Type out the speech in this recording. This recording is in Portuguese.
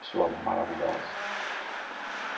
Pessoa maravilhosa.